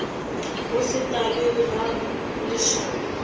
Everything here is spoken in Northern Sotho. go se tlale ga lešaka